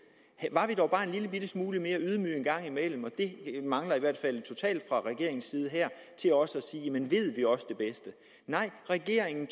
og en lillebitte smule mere ydmyge en gang imellem det mangler i hvert fald totalt fra regeringens side her til også at sige men ved vi også det bedste nej regeringen